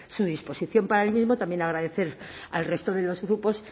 su disposición para el mismo también agradecer al resto de los grupos